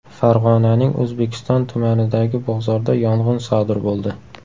Farg‘onaning O‘zbekiston tumanidagi bozorda yong‘in sodir bo‘ldi.